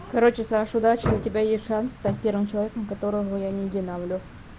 короче саша удачи у тебя есть шанс стать первым человеком которого я не динамлю